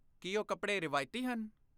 ਕੀ ਉਹ ਕੱਪੜੇ ਰਵਾਇਤੀ ਹਨ?